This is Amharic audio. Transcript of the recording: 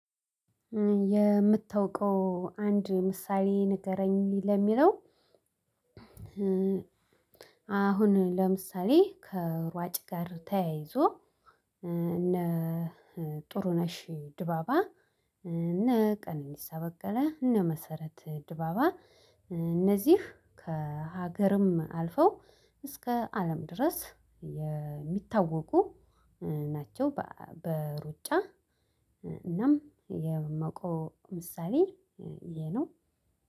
የምታውቀው አንድ ምሳሌ ንገረኝ ለሚለው? አሁን ለምሳሌ ሩጭ ጋር ተያይዞ እነ ጥሩነሽ ዲባባ ድነ ቀነኒሳ በቀለ መሰረት ዲባባ እነዚህ ከሀገርም አልፈው እስከ አለም ድረስ የሚታወቁ ናቸው። በሩጫ እናም የመቆ ምሳሌ ይሄ ነው።